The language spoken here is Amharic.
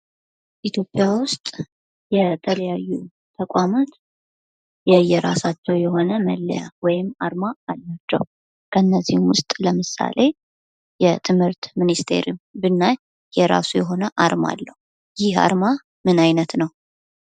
ኢትዮጵያ ውስጥ የተለያዩ ተቋማት የየራሳቸው የሆነ መለያ ወይም አርማ አላቸው ከነዚህም ውስጥ የትምህርት ሚኒስቴርን ብናይ የራሱ የሆነ አርማ አለው። ይህ አርማ ምን አይነት ነው?